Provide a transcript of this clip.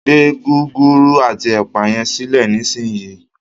gbé Gúgúrú ati ẹpa yen silẹ nísìsiyìí!